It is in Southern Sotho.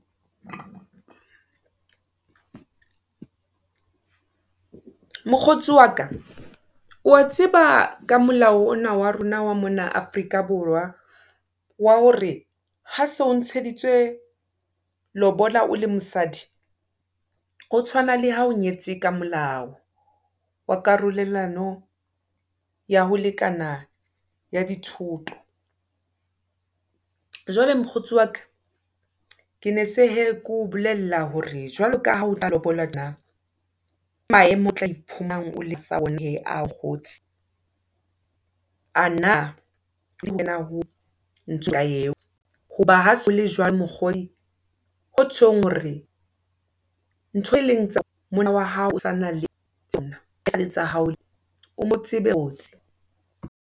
Mokgotsi waka, wa tseba ka molao ona wa rona wa mona Afrika Borwa, wa hore, ha se o ntsheditswe lobola, o le mosadi, ho tshwana le ha o nyetse ka molao, wa karolelwano, ya ho lekana ya dithoto. Jwale mokgotsi waka, ke ne se hee ke o bolella, hore jwaloka ha o tla lobolwa, ke maemo o tla A na eo, hoba ha . Hotjhong hore, ntho e leng tsa , monna wa hao, tsanang le tsona, hase tsa hao o .